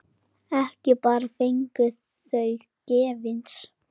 Ekki bara fengið þau gefins.